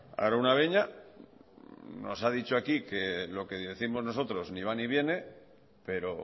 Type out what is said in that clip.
araunabeña nos ha dicho aquí que lo que décimos nosotros ni va ni viene pero